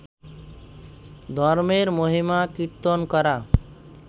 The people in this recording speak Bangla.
ধর্মের মহিমা কীর্তন করা